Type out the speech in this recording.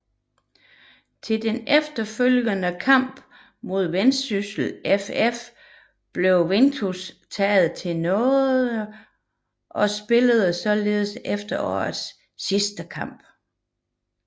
Til den efterfølgende kamp mod Vendsyssel FF blev Vinicius taget til nåede og spillede således efterårets sidste kamp